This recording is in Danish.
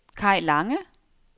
Kaj Lange